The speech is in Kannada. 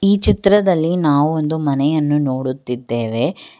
ಈ ಚಿತ್ರದಲ್ಲಿ ನಾವು ಒಂದು ಮನೆಯನ್ನು ನೋಡುತ್ತಿದ್ದೇವೆ.